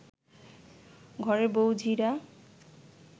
ঘরের বউ ঝিরা